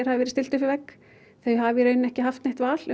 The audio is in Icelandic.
hafi verið stillt upp við vegg þau hafi í rauninni ekki haft neitt val